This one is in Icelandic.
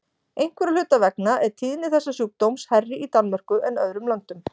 Einhverra hluta vegna er tíðni þessa sjúkdóms hærri í Danmörku en öðrum löndum.